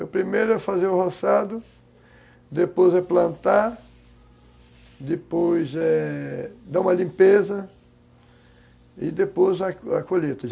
O primeiro é fazer o roçado, depois é plantar, depois é dar uma limpeza e depois a colheita.